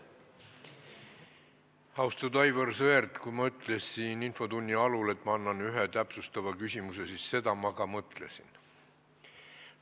Austatud Aivar Sõerd, kui ma ütlesin infotunni algul, et ma annan võimaluse ühe täpsustava küsimuse esitamiseks, siis seda ma ka mõtlesin.